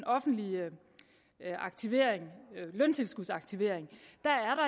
offentlige aktivering løntilskudsaktivering